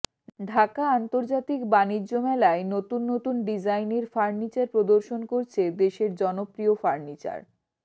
ঢাকা আন্তর্জাতিক বাণিজ্য মেলায় নতুন নতুন ডিজাইনের ফার্নিচার প্রদর্শন করছে দেশের জনপ্রিয় ফার্নিচার